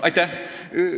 Aitäh!